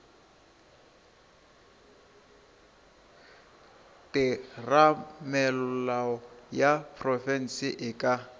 theramelao ya profense e ka